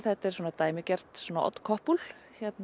þetta er svona dæmigert odd couple